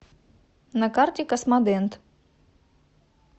на карте космодент